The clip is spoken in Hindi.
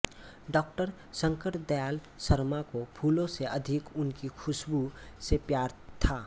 डॉ शंकर दयाल शर्मा को फूलों से अधिक उनकी खुशबू से प्यार था